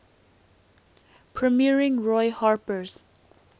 premiering roy harper's